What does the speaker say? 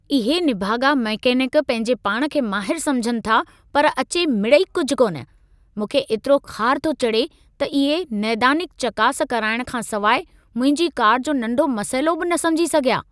इहे निभाॻा मकेनिक पंहिंजे पाण खे माहिर समुझनि था पर अचे मिड़ेई कुझु कोन. मूंखे एतिरो ख़ारु थो चढे़ त इहे ऽनैदानिक चकासऽ कराइण खां सिवाइ मुंहिंजी कार जो नंढो मसइलो बि न समिझी सघिया।